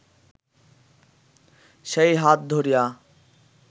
সেই হাত ধরিয়া